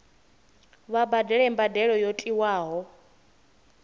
vha badele mbadelo yo tiwaho